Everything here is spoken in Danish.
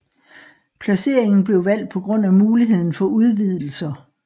Placeringen blev valgt på grund af muligheden for udvidelser